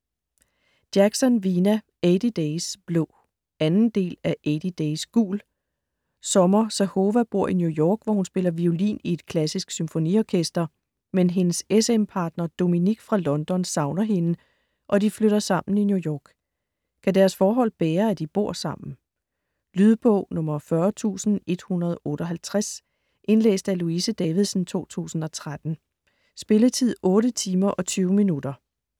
Jackson, Vina: Eighty days blå 2. del af Eighty days gul. Summer Zahova bor i New York, hvor hun spiller violin i et klassisk symfoniorkester. Men hendes s/m partner Dominik fra London savner hende, og de flytter sammen i New York. Kan deres forhold bære at de bor sammen? Lydbog 40158 Indlæst af Louise Davidsen, 2013. Spilletid: 8 timer, 20 minutter.